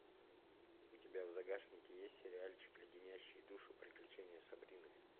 у тебя в загашнике есть сериальчик леденящие душу приключения сабрины